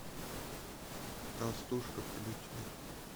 толстушка включи